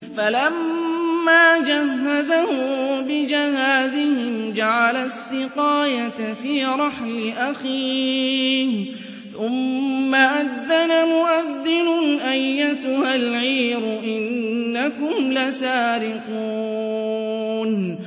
فَلَمَّا جَهَّزَهُم بِجَهَازِهِمْ جَعَلَ السِّقَايَةَ فِي رَحْلِ أَخِيهِ ثُمَّ أَذَّنَ مُؤَذِّنٌ أَيَّتُهَا الْعِيرُ إِنَّكُمْ لَسَارِقُونَ